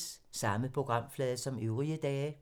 Samme programflade som øvrige dage